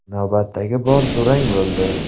Navbatdagi bor durang bo‘ldi.